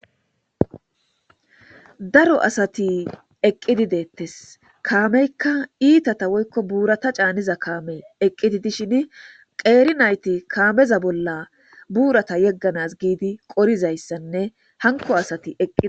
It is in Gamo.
Daro asati eqidi detes kameka itata woyikko borata caniza kame eqidi dishini qeri nayiti kameza bola burata yeganas gizi qorizaysane hanko asati eqizi.